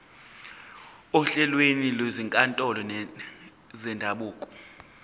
ohlelweni lwezinkantolo zendabuko